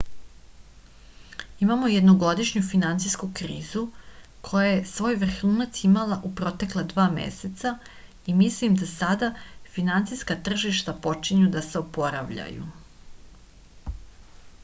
imamo jednogodišnju finansijsku krizu koja je svoj vrhunac imala u protekla dva meseca i mislim da sada finansijska tržišta počinju da se oporavljaju